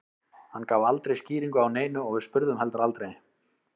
Hann gaf aldrei skýringu á neinu og við spurðum heldur aldrei.